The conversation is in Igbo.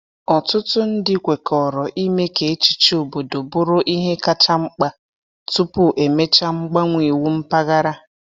Ọtụtụ ndị kwekọrọ ime ka echiche obodo bụrụ ihe kacha mkpa tupu emechaa mgbanwe iwu mpaghara.